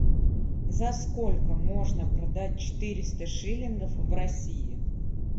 за сколько можно продать четыреста шиллингов в россии